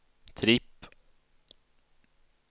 tripp